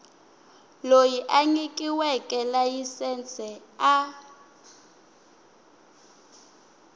loyi a nyikiweke layisense a